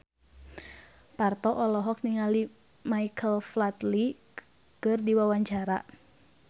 Parto olohok ningali Michael Flatley keur diwawancara